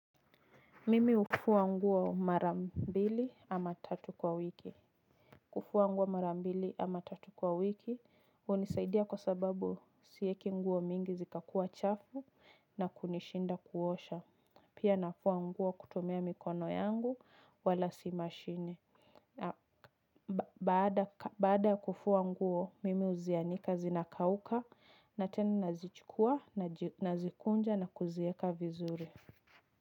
Mimi hufua nguo mara mbili ama tatu kwa wiki. Kufua nguo mara mbili ama tatu kwa wiki hunisaidia kwa sababu siweki nguo mingi zikakuwa chafu na kunishinda kuosha. Pia nafua nguo kutumia mikono yangu wala si mashine. Baada kufua nguo, mimi huzianika zinakauka na tena nazichukua nazikunja na kuzieka vizuri.